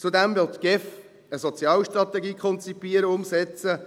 Zudem will die GEF eine Sozialstrategie konzipieren, umsetzen.